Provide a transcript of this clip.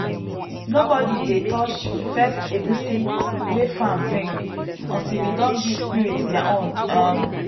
nobody dey touch first egusi wey farm bring until we don give spirit their own. um